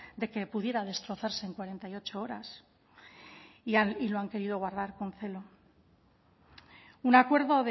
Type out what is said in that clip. de que pudiera destrozarse en cuarenta y ocho horas lo han querido guardar con celo un acuerdo